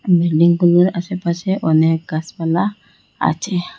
বিল্ডিংগুলোর আসেপাশে অনেক গাসপালা আচে।